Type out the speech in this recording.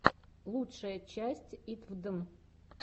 лучшая часть итвдн